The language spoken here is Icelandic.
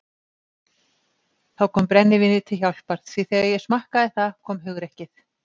Þá kom brennivínið til hjálpar því þegar ég smakkaði það kom hugrekkið.